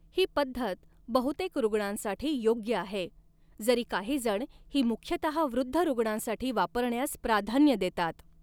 ही पद्धत बहुतेक रूग्णांसाठी योग्य आहे, जरी काहीजण ही मुख्यतः वृद्ध रूग्णांसाठी वापरण्यास प्राधान्य देतात.